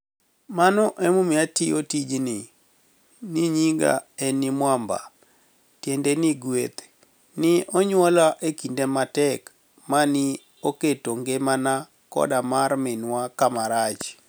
Mano emomiyo atiyo tijnii. niyiniga eni Mwamba, tienide nii gweth ni e oniyuola e kinide matek ma ni e oketo nigimania koda mar miniwa kama rach.